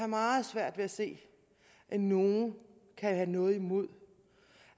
meget svært ved at se at nogen kan have noget imod